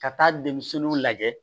Ka taa demisɛnninw lajɛ